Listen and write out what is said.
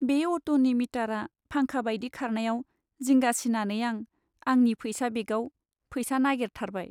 बे अट'नि मिटारआ फांखा बायदि खारनायाव जिंगा सिनानै आं आंनि फैसा बेगआव फैसा नागेरथारबाय।